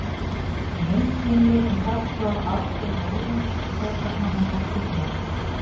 Í Heimskringlu er sagt frá atgervi Óðins og hvers vegna hann var tignaður.